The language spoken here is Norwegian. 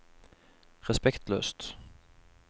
respektløst